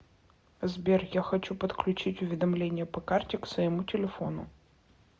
сбер я хочу подключить уведомления по карте к своему телефону